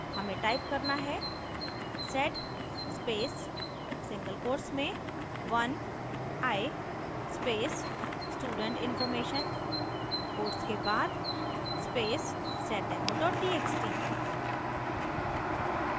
हमें type करना है: sed space single quotes में 1i space student information quotes के बाद space seddemo txt